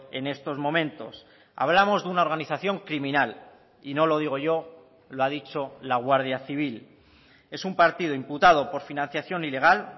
en estos momentos hablamos de una organización criminal y no lo digo yo lo ha dicho la guardia civil es un partido imputado por financiación ilegal